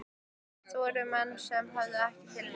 Yfirleitt voru þetta menn sem höfðuðu ekki til mín.